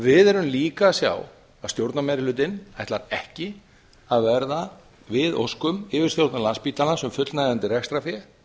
við sjáum líka að stjórnarmeirihlutinn ætlar ekki að verða við óskum yfirstjórnar landspítalans um fullnægjandi rekstrarfé